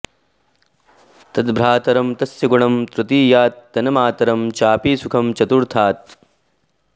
तद्भ्रातरं तस्य गुणं तृतीयात् तन्मातरं चापि सुखं चतुर्थात्